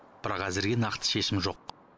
бірақ әзірге нақты шешім жоқ